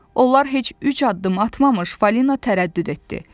Onlar heç üç addım atmamış Falina tərəddüd etdi.